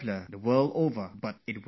But it was not like that from the start